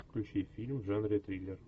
включи фильм в жанре триллер